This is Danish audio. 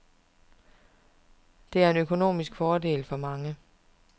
Det er en økonomisk fordel for mange.